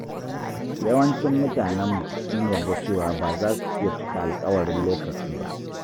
Yawancin mutanenmu sun yarda cewa ba za su iya cika alƙawarin lokaci ba.